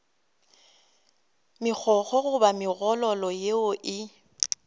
megokgo goba megololo yeo e